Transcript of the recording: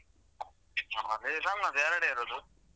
ನಮ್ಮಲ್ಲಿ ನಮ್ಮದ್ ಎರಡೇ ಇರುದು.